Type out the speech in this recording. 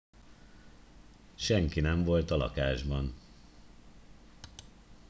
senki nem volt a lakásban